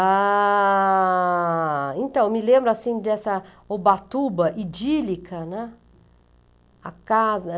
Ah... Então, me lembro assim dessa Ubatuba idílica, né? A casa